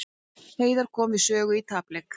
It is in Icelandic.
Heiðar kom við sögu í tapleik